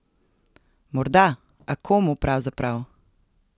Morda, a komu pravzaprav?